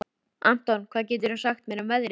Anton, hvað geturðu sagt mér um veðrið?